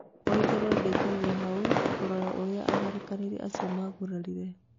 Waitherero ndatigirwo hau kũrora urĩa atharĩkanĩri acio magurarire